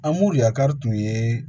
Anmori yakari tun ye